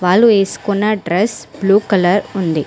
వాళ్ళు వేసుకున్న dress blue colour ఉంది.